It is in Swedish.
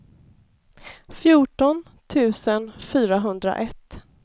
fjorton tusen fyrahundraett